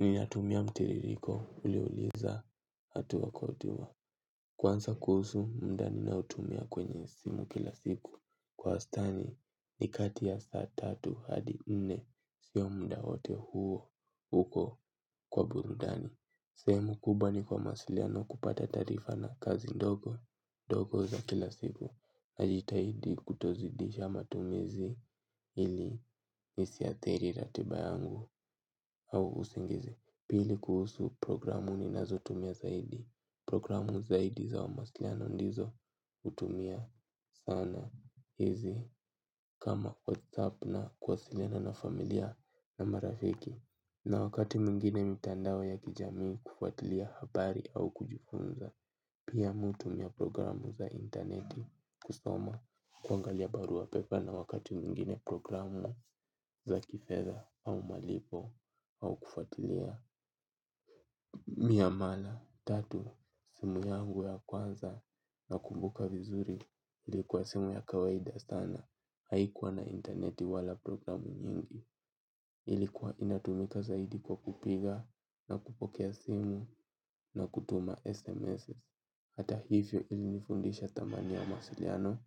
Ninatumia mtiririko uliuliza hatuwa kwa utuwa. Kwansa kuhusu muda ninaotumia kwenye simu kila siku kwa wastani ni kati ya saa tatu hadi nne. Sio muda wote huo uko kwa burudani. Sehemu kubwa ni kwa masiliano kupata tarifa na kazi ndogo. Ndogo za kila siku najitahidi kutozidisha matumizi ili isiathiri ratiba yangu. Au usingizi, pili kuhusu programu ninazo tumia zaidi. Programu zaidi za maasiliano ndizo utumia sana hizi. Kama WhatsApp na kuwasiliana na familia na marafiki. Na wakati mwingine mitandao ya kijamii kufuatilia habari au kujifunza. Pia mi hutumia programu za intaneti kusoma kuangalia barua pepa. Na wakati mwingine programu za kifedha au malipo au kufuatilia miamala, tatu, simu yangu ya kwanza nakumbuka vizuri ilikuwa simu ya kawaida sana. Haikuwa na intaneti wala programu nyingi ilikuwa inatumika zaidi kwa kupiga na kupokea simu na kutuma SMS. Hata hivyo ilinifundisha thamani ya masiliano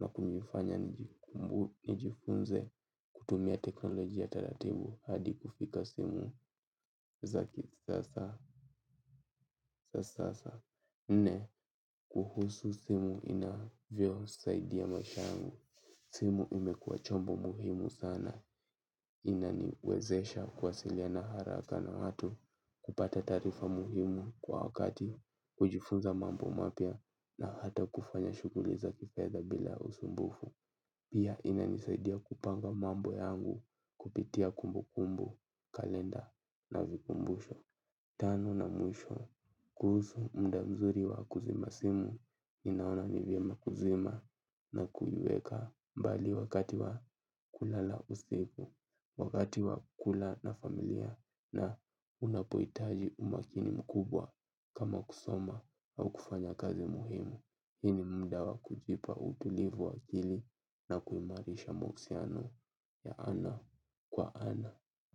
na kunifanya nijifunze kutumia teknolojia taratibu hadi kufika simu za sasa. Nne kuhusu simu inavyosaidia maishangu. Simu imekuwa chombo muhimu sana. Inaniwezesha kuwasiliana haraka na watu. Kupata tarifa muhimu kwa wakati. Kujifunza mambo mapya na hata kufanya shuguli za kifedha bila usumbufu. Pia inanisaidia kupanga mambo yangu kupitia kumbukumbu kalenda na vikumbusho. Tano na mwisho kuhusu muda mzuri wa kuzima simu ninaona ni vyema kuzima na kuiweka mbali wakati wa kulala usiku. Wakati wa kula na familia na unapoitaji umakini mkubwa kama kusoma au kufanya kazi muhimu hii ni mda wa kujipa utulivu wa akili na kuimarisha mahusiano ya ana kwa ana.